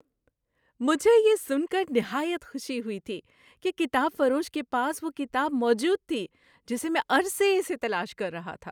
مجھے یہ سن کر نہایت خوشی ہوئی تھی کہ کتاب فروش کے پاس وہ کتاب موجود تھی جسے میں عرصے سے تلاش کر رہا تھا!